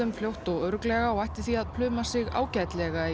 fljótt og örugglega og ætti því að pluma sig ágætlega í